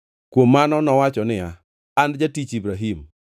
Kuom mano nowacho niya, “An jatich Ibrahim.